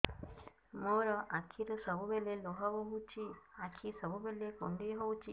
ମୋର ଆଖିରୁ ସବୁବେଳେ ଲୁହ ବୋହୁଛି ଆଖି ସବୁବେଳେ କୁଣ୍ଡେଇ ହଉଚି